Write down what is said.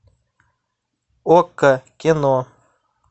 окко кино